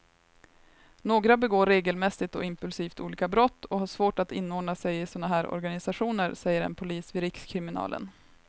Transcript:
Några begår regelmässigt och impulsivt olika brott och har svårt att inordna sig i såna här organisationer, säger en polis vid rikskriminalen.